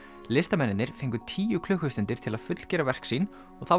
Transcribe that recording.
listamennirnir fengu tíu klukkustundir til að fullgera verk sín og það